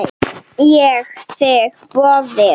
Ég þigg boðið.